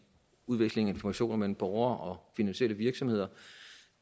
udvekslingen af informationer mellem borgere og finansielle virksomheder